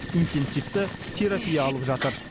интенсивті терапия алып жатыр